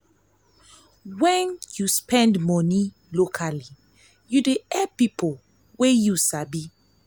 wen yu spend money locally yu dey help pipo yu sabi.